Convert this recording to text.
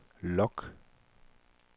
log